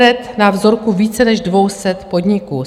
Edenred na vzorku více než 200 podniků.